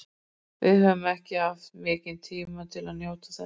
Við höfum ekki haft mikinn tíma til að njóta þess.